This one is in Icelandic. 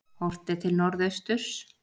Horft er til norðausturs.